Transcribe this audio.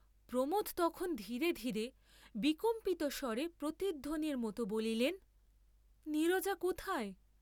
প্রমোদ তখন ধীরে ধীরে বিকম্পিতস্বরে প্রতিধ্বনির মত বলিলেন নীরজা কোথায়!